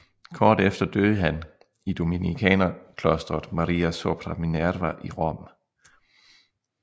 Kort efter døde han i Dominikanerklostret Maria sopra Minerva i Rom